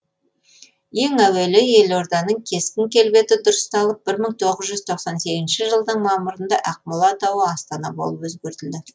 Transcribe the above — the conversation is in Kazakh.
ең әуелі елорданың кескін келбеті дұрысталып бір мың тоғыз жүз тоқсан сегізінші жылдың мамырында ақмола атауы астана болып өзгертілді